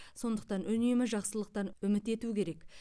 сондықтан үнемі жақсылықтан үміт ету керек